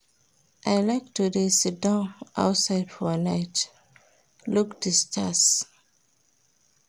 I like to dey siddon outside for night, look di stars.